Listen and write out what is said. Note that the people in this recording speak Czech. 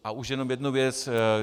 A už jenom jednu věc.